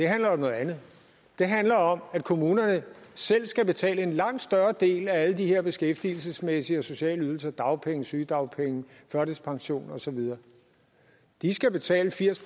handler om noget andet det handler om at kommunerne selv skal betale en langt større del af alle de her beskæftigelsesmæssige og sociale ydelser dagpenge sygedagpenge førtidspension og så videre de skal betale firs